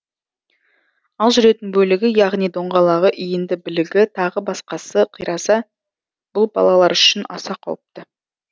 ал жүретін бөлігі яғни доңғалағы иінді білігі тағы басқасы қираса бұл балалар үшін аса қауіпті